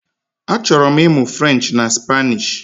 Achọrọ m ịmụ French na Spanish